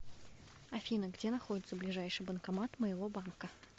афина где находится ближайший банкомат моего банка